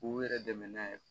K'u yɛrɛ dɛmɛ n'a ye